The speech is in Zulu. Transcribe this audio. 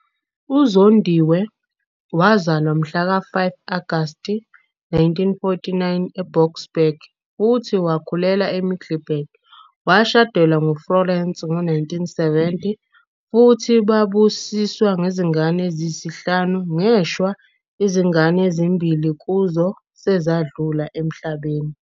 UZondiwe wazalwa mhla ka-5 Agasti 1949 eBoksburg futhi wakhulela eMiddelburg. Washadelwa nguFlorence ngo-1970 futhi babusiswa ngezingane eziyisihlanu, ngeshwa izingane ezimbili kuzo sezadlula emhlabeni.